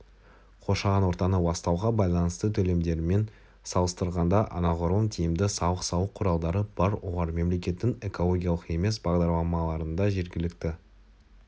қоршаған ортаны ластауға байланысты төлемдермен салыстырғанда анағұрлым тиімді салық салу құралдары бар олар мемлекеттің экологиялық емес бағдарламаларында жергілікті